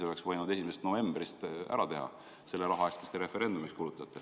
Oleks võinud 1. novembrist ära teha selle raha eest, mis te referendumiks kulutate.